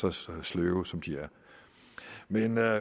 er så sløve som de er men lad